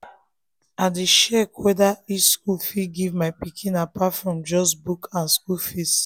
i dey check wetin each school fit give my pikin apart from just book and school fees